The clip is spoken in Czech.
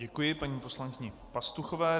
Děkuji paní poslankyni Pastuchové.